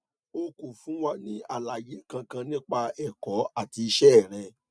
o kò fún wa ní àlàyé kankan nípa ẹkọ àti iṣẹ rẹ